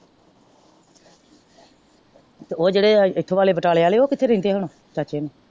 ਤੇ ਓਫ ਜਿਹੜੇ ਇਥੋਂ ਵਾਲੇ ਬਟਾਲੇ ਵਾਲੇ ਉਹ ਕਿਥੇ ਰਹਿੰਦੇ ਹੁਣ? ਚਾਚੇ ਹੋਰ।